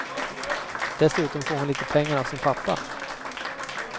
Dessutom får hon lite pengar av sin pappa.